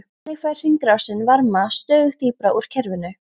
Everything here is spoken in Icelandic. Þannig fær hringrásin varma stöðugt dýpra úr kerfinu.